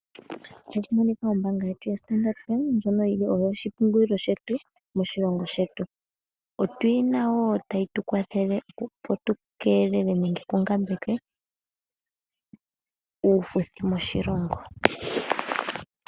Ombaanga yetu yaStandard Bank ndjoka yi li oyo oshipungulilo shetu moshilongo shetu. Otuyina wo tayi tu kwathele opo tu kelele nenge tungambeke uufuthi moshilongo.